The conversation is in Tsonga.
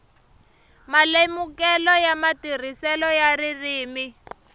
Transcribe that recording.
malemukelo ya matirhiselo ya ririmi